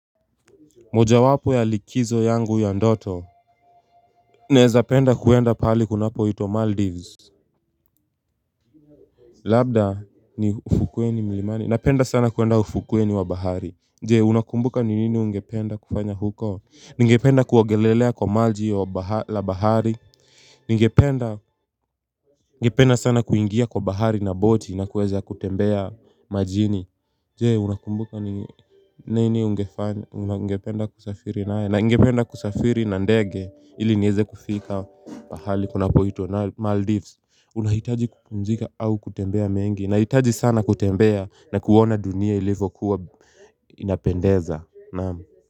Moja wapo ya likizo yangu ya ndoto Neza penda kuenda pali kunapo itwa Maldives Labda ni ufukuwe ni mlimani Napenda sana kuenda ufukuwe ni wa bahari Jee unakumbuka ni nini ungependa kufanya huko Ningependa kuwagelelea kwa malji la bahari Ningependa sana kuingia kwa bahari na boti na kuweza kutembea majini Jee unakumbuka nini ungependa kusafiri na ngependa kusafiri na ndege ili nieze kufika pahali kuna po itwa na Maldives unahitaji kukunjika au kutembea mengi na hitaji sana kutembea na kuona dunia ilivo kuwa inapendeza.